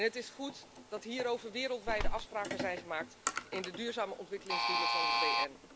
Het is goed dat hierover wereldwijde afspraken zijn gemaakt in de duurzame ontwikkelingsdoelen van de VN.